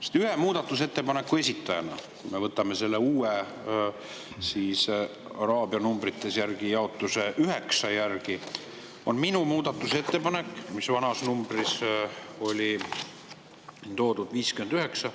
Ma olen ühe muudatusettepaneku esitaja, mis selle uue araabia numbrites jaotuse järgi on nr 9, vana number oli 59.